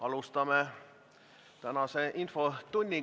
Alustame tänast infotundi.